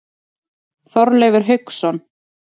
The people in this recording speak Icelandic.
Þorleifur Hauksson.